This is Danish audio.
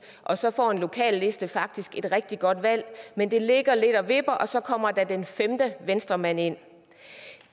og så får en lokalliste faktisk et rigtig godt valg men det ligger lidt og vipper og så kommer den femte venstremand ind